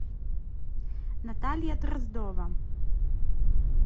наталья дроздова